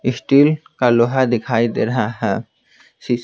Steel का लोहा दिखाई दे रहा है ।